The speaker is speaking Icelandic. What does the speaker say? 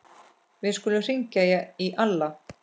Við skulum hringja í Alla.